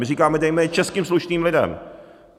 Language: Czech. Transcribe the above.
My říkáme, dejme je českým slušným lidem.